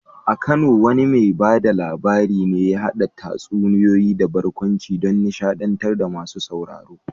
A Kano wane mai ba da labari ne ya haɗa tatsuniyoyi da barkwanci don nishaɗantar da masu sauraro?